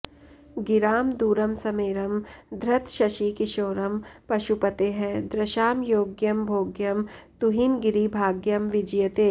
गिरां दूरं स्मेरं धृतशशिकिशोरं पशुपतेः दृशां योग्यं भोग्यं तुहिनगिरिभाग्यं विजयते